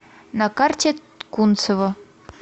на карте кунцево